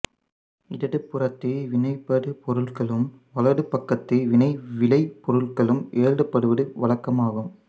இடது புறத்தில் வினைபடு பொருள்களும் வலது பக்கத்தில் வினை விளை பொருள்களும் எழுதப்படுவது வழக்கம் ஆகும்